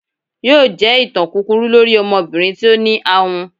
yóò jẹ ìtàn kúkúrú lorí ọmọbirin tí o ní àhùn.